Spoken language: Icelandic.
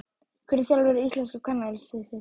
Hver er þjálfari íslenska kvennalandsliðsins?